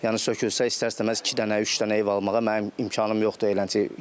Yəni sökülsə istər-istəməz iki dənə, üç dənə ev almağa mənim imkanım yoxdur eləncə.